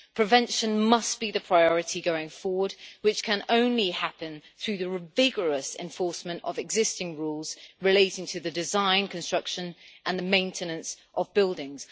Prevention must be the priority going forward, which can only happen through the vigorous enforcement of existing rules relating to the design, construction and the maintenance of buildings.